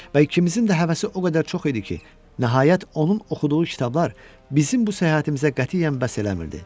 Və ikimizin də həvəsi o qədər çox idi ki, nəhayət, onun oxuduğu kitablar bizim bu səyahətimizə qətiyyən bəs etmirdi.